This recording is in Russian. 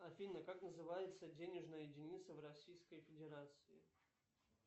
афина как называется денежная единица в российской федерации